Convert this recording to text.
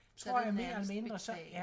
Så det nærmest betalt